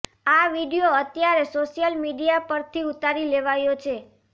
આ વિડીયો અત્યારે social media પરથી ઉતારી લેવાયો છે